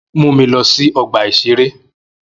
Mu mi lọ sí ọgbà-ìṣeré